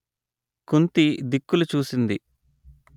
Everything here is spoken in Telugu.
కుంతి దిక్కులు చూసింది